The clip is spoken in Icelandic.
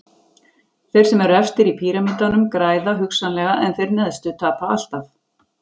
þeir sem eru efstir í píramídanum græða hugsanlega en þeir neðstu tapa alltaf